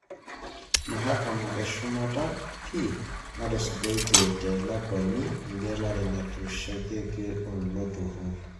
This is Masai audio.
Mahakama eshumata pii natusujaitie telakwani engelare naitasheikio iloturur.